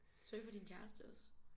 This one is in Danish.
Surfer din kæreste også?